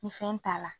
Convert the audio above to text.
Ni fɛn t'a la